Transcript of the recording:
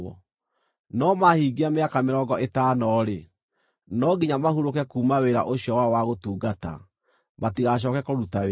no mahingia mĩaka mĩrongo ĩtano-rĩ, no nginya mahurũke kuuma wĩra ũcio wao wa gũtungata, matigacooke kũruta wĩra.